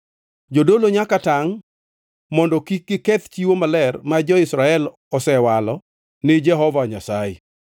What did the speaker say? Jodolo nyaka tangʼ mondo kik giketh chiwo maler ma jo-Israel osewalo ni Jehova Nyasaye,